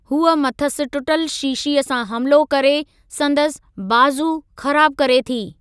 हूअ मथिसि टुटल शीशीअ सां हमिलो करे संदसि बाज़ू ख़राबु करे थी।